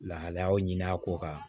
Lahalayaw ɲini a ko kan